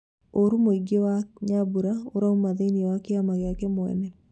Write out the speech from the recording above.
Ũru ũngĩ mwena wa Nyambura, ũrauma thĩĩnĩ wa kĩama gĩake mwene